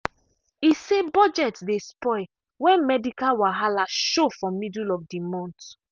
e say budget dey spoil when medical wahala show for middle of the month.